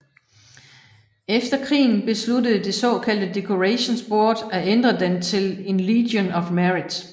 Efter krigen besluttede det såkaldte Decorations Board at ændre den til en Legion of Merit